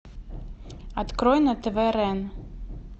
открой на тв рен